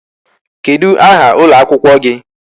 Kedụ aha ụlọ akwụkwọ gị?